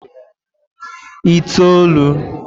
itoolu